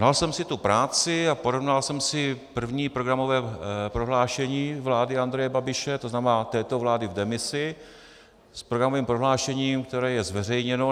Dal jsem si tu práci a porovnal jsem si první programové prohlášení vlády Andreje Babiše, to znamená této vlády v demisi, s programovým prohlášením, které je zveřejněno.